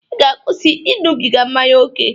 I ga-akwusi iñụbiga mmanya oke!